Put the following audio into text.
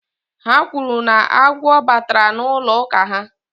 Ha kwuru na agwọ batara n'ụlọ ụka ha